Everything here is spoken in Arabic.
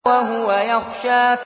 وَهُوَ يَخْشَىٰ